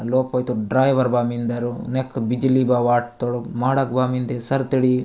लोप वही तोर ड्राइवर वा मिंद्रो नेक बिजली बा वॉट ताडो माडक बा मिन्दे सरथडी --